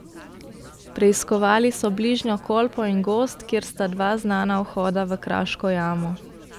Preiskovali so bližnjo Kolpo in gozd, kjer sta dva znana vhoda v kraško jamo.